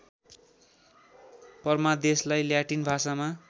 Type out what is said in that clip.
परमादेशलार्इ Latin भाषामा